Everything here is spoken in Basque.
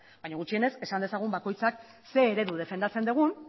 baina gutxienez esan dezagun bakoitzak ze eredu defendatzen dugun